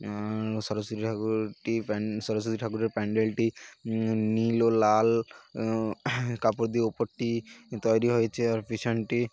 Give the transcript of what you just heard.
অ্যাঁ সরস্বতী ঠাকুরটিসরস্বতী ঠাকুরের প্যান্ডেলটি নীল ও লাল কাপড় দিয়ে ওপর টি তৈরি হয়েছে আর পেছনটি--